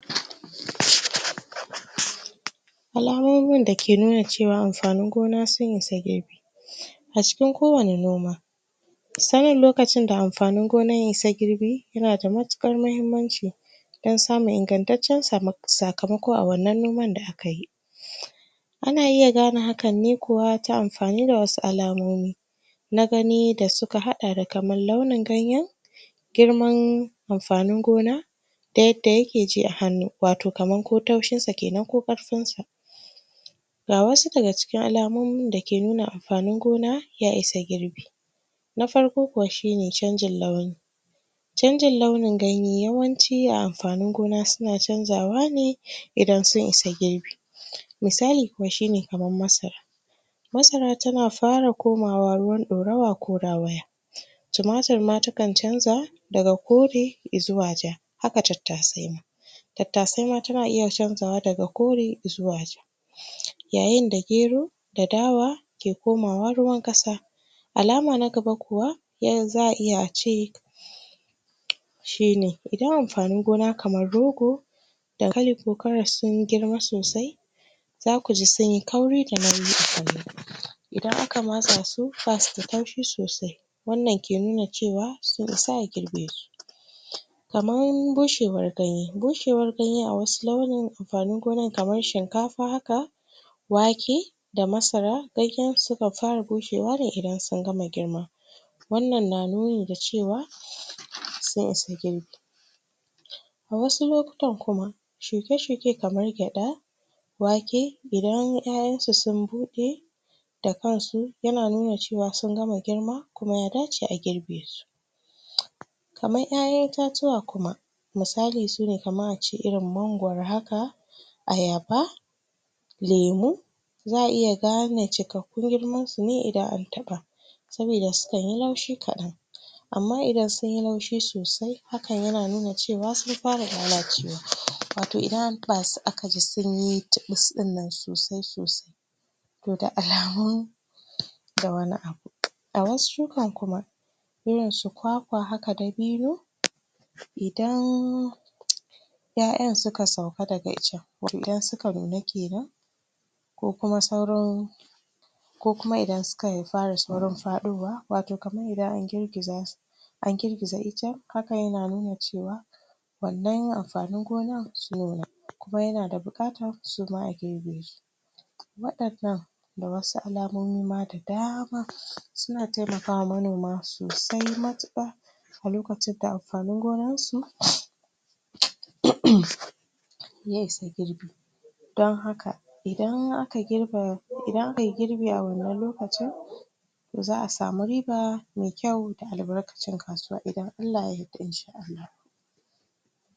alamomin dake nuna cewa amfanin gona sun isa girbi a cikin ko wane noma sanin lokacin da amfanin gonan ya isa girbi ya na da mattukar muhimmanci dan samun ingantacen sakamoko a wannannoman da aka yi ana iya gane hakan ne kuwa ta amfani da wasu alamomi na gani da suka hada da kaman launen ganyen girman amfanin gona da yadda yakeji a hannu watau kamar ko taushin sa kenan ko karfin sa ga wasu daga cikin alamomi da ke nuna amfanin gona ya isa girbi na farko kuwa shi ne canjin launi canjin launin ganye yawanci a amfanin gona su na cajawa ne idan su isagirbi misali kuma shi ne kuma kamar masara masara ta na fara komawa ruwan dorowa ko da? tomatir ma ta kan canza daga kore zuwa ja haka tattase ma tattase ma ta na iya canzawa daga kore zuwa ja yayen da gero, da dawa ke komawa ruwan kasa alama na gaba kuwa? za'a iya ce shi ne idan amfanin gona kamar rogo dankali, ko carrot sun girma sosai za ku ji sun yi kauri da nauyi a gona idan aka matsa su basu da karfi sosai wannan ke nuna cewa sun isa a girbe su kamar bushewar ganye, bushewar ganye awasu launin amfanin gonan kamar shinkafa haka wake da masara? suka fara bushewa da? in sun fara girma wannan na nuna da cewa, so su girbi a wasu lokuta kuma shuke shuke kamar gyada wake idan 'yayan su sun bude da kansu yana nuna cewa sun gama girma, kuma ya dace a girbe su kamar 'yayan itatuwa kuma misali su ne kamar a ce irin mangoro haka ayaba lemu, za'a iya gane cikakkun girman su ne idan an taba sobida sukan yi laushi kadan amma idan sun yi laushi sosai hakan ya na nuna cewa sun fara lallacewa watau idan an? aka ji sun yi tilis din nan sosai sosai da alamun ga wani abu. ga wasu shukan kuma irin su kwakwa haka dabino idan 'yayan suka sauka da ga icen idan su ka nuna kenan ko kuma sauran ko kuma idan suka fara fadowa in an girgiza su an girgiza icen haka yana nuna cewa wannan yin amfanin gonan?, kuma yana da bukata su ma a girbe su? da wasu alamomi ma wadannan da wasu alamomi ma dama, su na taimakawa manoma sosai mattuka a lokcin da amfanin gonan su? ya isa girbi dan haka idan aka girba, idan aka yi girbi a wannan lokaci